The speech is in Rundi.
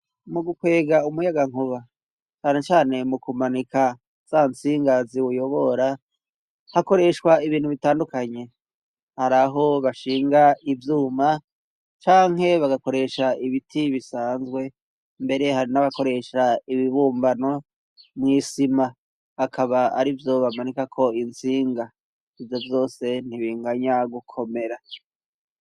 Mu gukwega umuyagankuba cane cane mu kumanika za tsinga ziwuyobora hakoreshwa ibintu bitandukanye, hari aho bashinga ivyuma canke bagakoresha ibiti bisanzwe mbere hari n'abakoresha ibibumbano mw'isima akaba ari vyo bamanika ko intsinga, ivyo vyose ntibinganya gukomera.